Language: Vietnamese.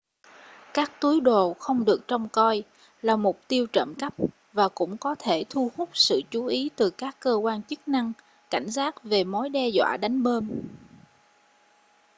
các túi đồ không được trông coi là mục tiêu trộm cắp và cũng có thể thu hút sự chú ý từ các cơ quan chức năng cảnh giác về mối đe dọa đánh bom